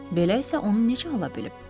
Belə isə onun neçə ala bilib?